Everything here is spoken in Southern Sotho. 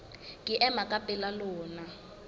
ke ema ka pela lona